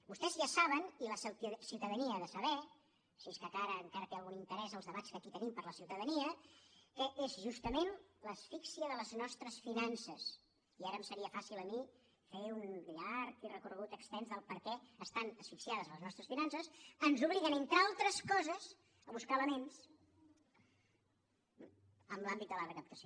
vostès ja saben i la ciutadania ha de saber si és que encara tenen algun interès els debats que aquí tenim per a la ciutadania que és justament l’asfíxia de les nostres finances i ara em seria fàcil a mi fer un llarg i extens recorregut de per què estan asfixiades les nostres finances el que ens obliga entre altres coses a buscar elements en l’àmbit de la recaptació